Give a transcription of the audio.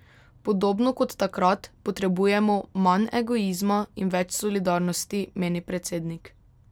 Podobno kot takrat potrebujemo manj egoizma in več solidarnosti, meni predsednik.